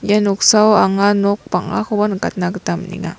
ia noksao anga nok bang·akoba nikatna gita man·enga.